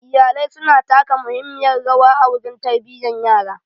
Iyalai su na taka muhimmiyan rawa a wurin tarbiyan yara.